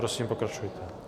Prosím, pokračujte.